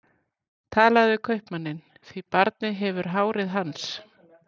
Talaðu við kaupmanninn, því barnið hefur hárið hans.